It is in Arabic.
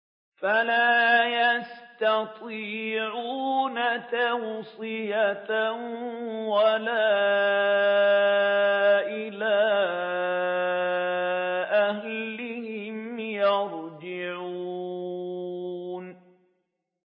فَلَا يَسْتَطِيعُونَ تَوْصِيَةً وَلَا إِلَىٰ أَهْلِهِمْ يَرْجِعُونَ